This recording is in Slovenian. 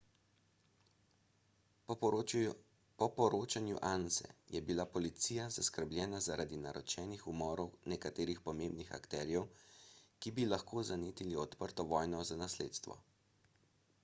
po poročanju anse je bila policija zaskrbljena zaradi naročenih umorov nekaterih pomembnih akterjev ki bi lahko zanetili odprto vojno za nasledstvo